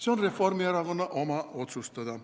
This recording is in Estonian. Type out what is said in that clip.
See on Reformierakonna enda otsustada.